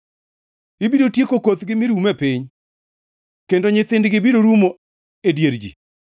Ibiro tieko kothgi mi rum e piny, kendo nyithindgi biro rumo e dier ji.